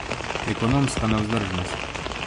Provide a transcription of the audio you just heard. Ekonomska nevzdržnost.